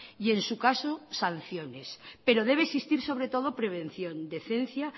y en su caso sanciones pero debe existir sobre todo prevención decencia